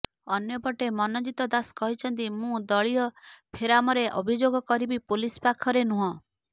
ଅନ୍ୟପଟେ ମନଜିତ ଦାସ କହିଛନ୍ତି ମୁଁ ଦଳୀୟ ଫୋରମରେ ଅଭିଯୋଗ କରିବି ପୋଲିସ ପାଖରେ ନୁହଁ